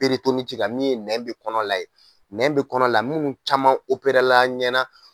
min ye nɛn bɛ kɔnɔ la nɛn bɛ kɔnɔ la minnu caman la an ɲɛna